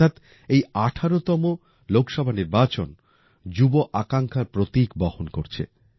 অর্থাৎ এই ১৮তম লোকসভা নির্বাচন যুব আকাঙ্ক্ষার প্রতীক বহন করছে